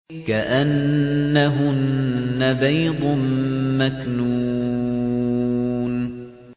كَأَنَّهُنَّ بَيْضٌ مَّكْنُونٌ